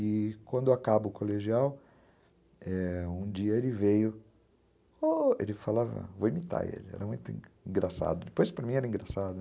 E quando acaba o colegial, um dia ele veio, ele falava, vou imitar ele, era muito engraçado, depois para mim era engraçado.